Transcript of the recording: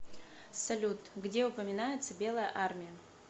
салют где упоминается белая армия